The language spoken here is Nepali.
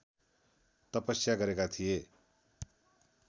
तपस्या गरेका थिए